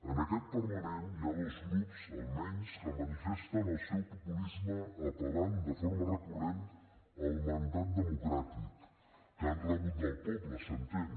en aquest parlament hi ha dos grups almenys que manifesten el seu populisme apellant de forma recurrent al mandat democràtic que han rebut del poble s’entén